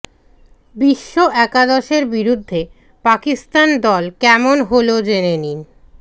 বিশ্ব একাদশের বিরুদ্ধে পাকিস্তান দল কেমন হল জেনে নিন